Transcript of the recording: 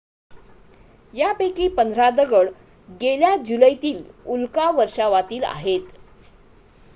यापैकी पंधरा दगड गेल्या जुलैतील उल्का वर्षावातील आहेत